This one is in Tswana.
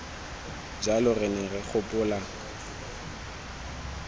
jalo re ne re gopola